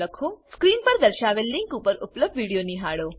screen પર દર્શાવેલ link પર ઉપલબ્ધ વિડીયો નિહાળો